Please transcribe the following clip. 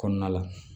Kɔnɔna la